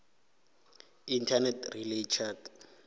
internet relay chat